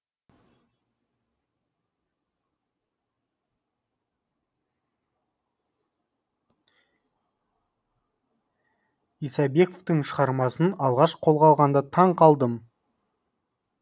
исабековтың шығармасын алғаш қолға алғанда таң қалдым